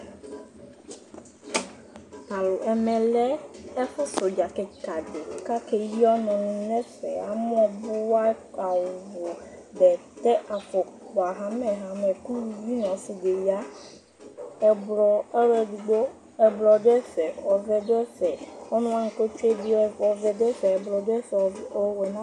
Tʋ alʋ, ɛmɛ lɛ ɛfʋsɛ ʋdza kɩka dɩ kʋ akeyi ɔnʋnɩ nʋ ɛfɛ, amɔbʋa, awʋ, bɛtɛ, afʋkpa ɣamɛ ɣamɛ kʋ uluvi nʋ ɔsɩ dɩ ya Ɛblɔ ɔlʋ edigbo, ɛblɔ dʋ ɛfɛ, ɔvɛ dʋ ɛfɛ, ɔnʋ wanɩ kʋ ɔtsue yɛ bɩ ɔvɛ dʋ ɛvɛ, ɛblɔ dʋ ɛfɛ, o ɛnʋa